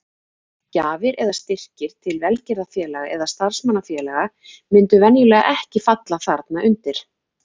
Gjafir eða styrkir til velgerðarfélaga eða starfsmannafélaga myndu venjulega ekki falla þarna undir.